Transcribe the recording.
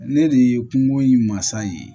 Ne de ye kungo in masa ye